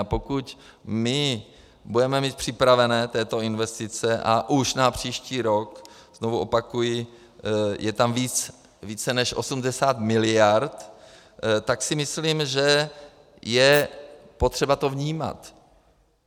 A pokud my budeme mít připraveny tyto investice a už na příští rok, znovu opakuji, je tam více než 80 miliard, tak si myslím, že je potřeba to vnímat.